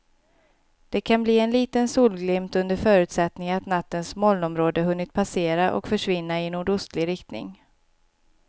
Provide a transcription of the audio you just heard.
Det kan bli en liten solglimt under förutsättning att nattens molnområde hunnit passera och försvinna i nordostlig riktning.